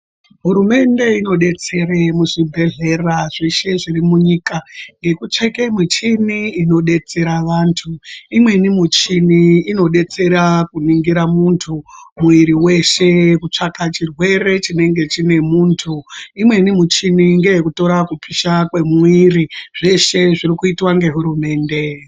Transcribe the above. Hurumende inodetsere muzvibhedhlera zveshe zviri munyika ngekutsvake michini inodetsera vantu. Imweni michini inodetsera kuningira muntu muiri weshe kutsvaka chirwere chinenge chine muntu, imweni muchini ngeyekutora kupisha kwemuiri. Zveshe zvirikuitwa ngehurumende.